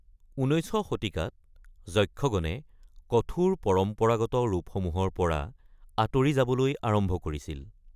১৯শ শতিকাত যক্ষগণে কঠোৰ পৰম্পৰাগত ৰূপসমূহৰ পৰা আঁতৰি যাবলৈ আৰম্ভ কৰিছিল।